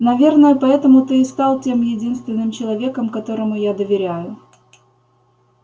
наверное поэтому ты и стал тем единственным человеком которому я доверяю